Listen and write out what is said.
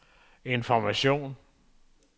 information